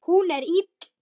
Hún er ill.